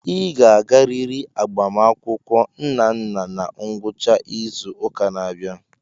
Ị ga-agarịrị agbamakwụkwọ Nnanna na ngwụcha izu ụka na-abịa.